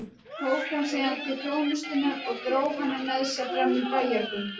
Tók hann síðan til þjónustunnar og dró hana með sér fram í bæjargöngin.